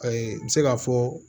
Ayi n bɛ se k'a fɔ